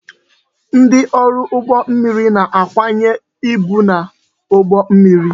Ndị ọrụ ụgbọ mmiri na-akwanye ibu n'ụgbọ mmiri